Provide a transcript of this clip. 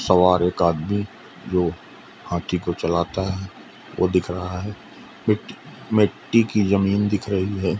सवार एक आदमी जो हाथी को चलता वो दिख रहा है मिट मिट्टी की जमीन दिख रही है।